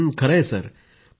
पूनम नौटियालः हांजी